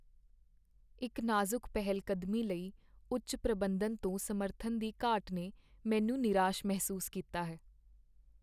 ਇੱਕ ਨਾਜ਼ੁਕ ਪਹਿਲਕਦਮੀ ਲਈ ਉੱਚ ਪ੍ਰਬੰਧਨ ਤੋਂ ਸਮਰਥਨ ਦੀ ਘਾਟ ਨੇ ਮੈਨੂੰ ਨਿਰਾਸ਼ ਮਹਿਸੂਸ ਕੀਤਾ ਹੈ।